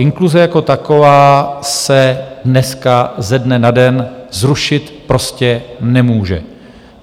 Inkluze jako taková se dneska ze dne na den zrušit prostě nemůže.